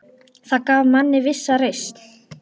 Það gaf manni vissa reisn.